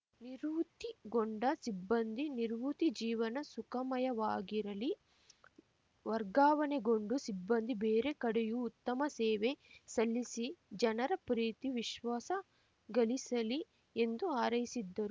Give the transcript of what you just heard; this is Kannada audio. ನಿರ್ವುತ್ತಿಗೊಂಡ ಸಿಬ್ಬಂದಿ ನಿರ್ವುತ್ತಿ ಜೀವನ ಸುಖಮಯವಾಗಿರಲಿ ವರ್ಗಾವಣೆಗೊಂಡು ಸಿಬ್ಬಂದಿ ಬೇರೆ ಕಡೆಯೂ ಉತ್ತಮ ಸೇವೆ ಸಲ್ಲಿಸಿ ಜನರ ಪ್ರೀತಿ ವಿಶ್ವಾಸ ಗಳಿಸಲಿ ಎಂದು ಹಾರೈಸಿದ್ದರು